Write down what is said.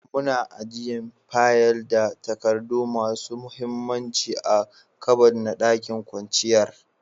Muna ajian fayil da takadu masun muhimmanci a'kabad na ɗakin kwanciyar